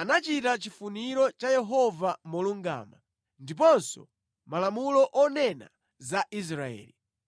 anachita chifuniro cha Yehova molungama, ndiponso malamulo onena za Israeli.”